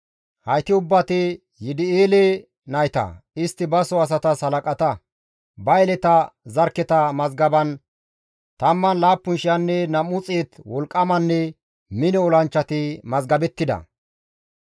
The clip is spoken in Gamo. hayti ubbati Yidi7eele nayta; istti baso asatas halaqata; ba yeleta zarkketa mazgaban 17,200 wolqqamanne mino olanchchati mazgabettida.